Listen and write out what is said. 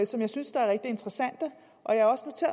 som jeg synes er rigtig interessante